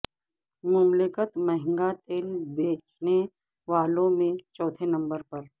مملکت مہنگا تیل بیچنے والوں میں چوتھے نمبر پر